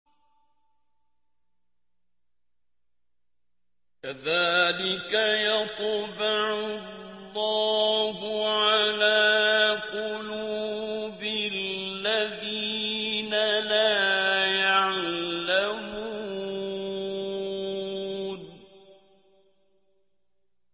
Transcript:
كَذَٰلِكَ يَطْبَعُ اللَّهُ عَلَىٰ قُلُوبِ الَّذِينَ لَا يَعْلَمُونَ